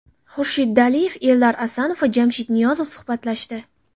Xurshid Daliyev, Eldar Asanov va Jamshid Niyozov suhbatlashdi.